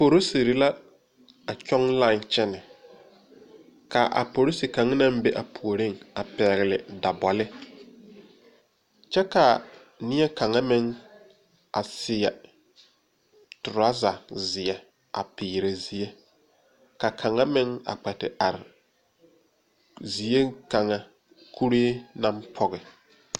Porisire la a tɔŋ line kyɛne, kaa a porisi kaŋ naŋ be a puori pɛgle daboli ,kyɛ ka nie kaŋa meŋ a seɛ treasure ziɛ a pere ziɛ, ka kaŋa meŋ kpɛ te are zie kaŋa kuri naŋ poɔ.